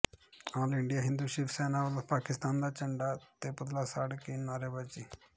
ਆਲ India Hindu Shiv Sena ਵੱਲੋਂ ਪਾਕਿਸਤਾਨ ਦਾ ਝੰਡਾ ਤੇ ਪੁਤਲਾ ਸਾੜ ਕੇ ਨਾਅਰੇਬਾਜ਼ੀ